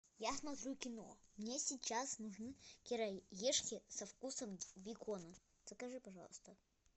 я смотрю кино мне сейчас нужны кириешки со вкусом бекона закажи пожалуйста